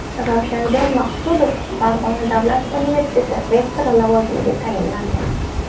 Ravshanjon Maqsudov Farg‘ona davlat universiteti rektori lavozimiga tayinlandi.